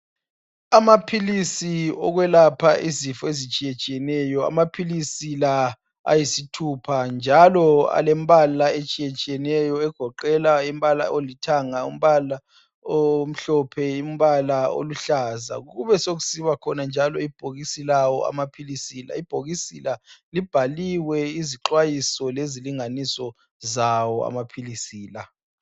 Amaphilisi okwelapha izifo ezitshiyetshiyeneyo. Amaphilisi la ayisithupha njalo alembala etshiyetshiyeneyo egoqela umbala olithanga, umbala omhlophe, umbala oluhlaza . Kubesokusiba khona njalo ibhokisi lawo amaphilisi la. Ibhokisi libhaliwe izixwayiso lezilinganiso zawo amaphilisi la.